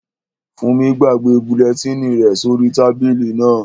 Fúnmi gbàgbé bulẹtínì rẹ̀ sí orí tábìlì náà